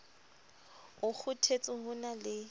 o kgothetse ho na le